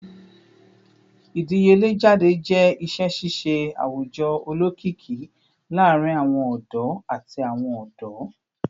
Idiyele jade jẹ iṣẹ ṣiṣe awujọ olokiki laarin awọn ọdọ ati awọn ọdọ